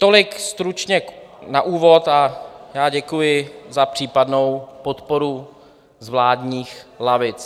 Tolik stručně na úvod a já děkuji za případnou podporu z vládních lavic.